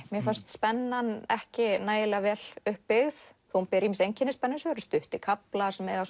mér fannst spennan ekki nægilega vel upp byggð þó hún beri einkenni spennusögu stuttir kaflar sem